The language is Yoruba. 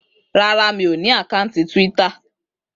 Rárá. Mi ò ní àkátì Twitter